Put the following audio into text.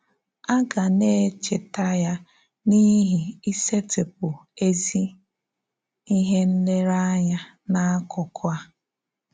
A gà na-èchetà ya n’íhì ìsètịpụ́ ézí íhè nlereànya n’ákụkụ̀ a.